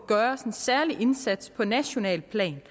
gøres en særlig indsats på nationalt plan